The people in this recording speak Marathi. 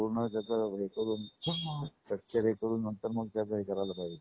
पूर्ण त्याच हे करून स्ट्रक्चर हे करून नंतर मग त्याच हे करायला पाहिजे.